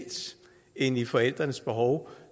end i forældrenes behov